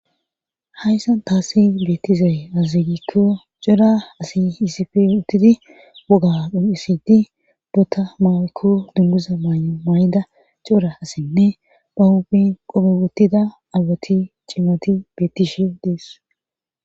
hayssan taasi beettizae aazigikko cora asi hiisipe uttidi woga uisidi bota maykko dummuza maan;o maayida coura assenne ba hobin qobe wottida awati cimmoti bettishe dees